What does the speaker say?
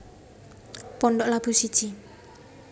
Pondok Labu siji